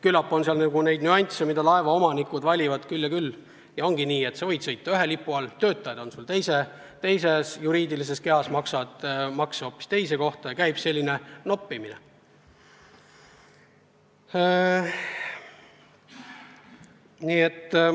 Küllap on mängus küll ja küll nüansse, mida laevaomanikud arvestavad, ja ongi nii, et sa võid sõita ühe lipu all, töötajad on sul teises juriidilises kehas, maksavad makse hoopis teise kohta ja käib selline noppimine.